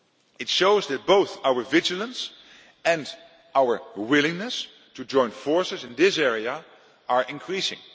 It shows that both our vigilance and our willingness to join forces in this area are increasing.